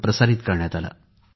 com PIBMumbai pibmumbai